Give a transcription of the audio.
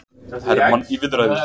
Hermann í viðræður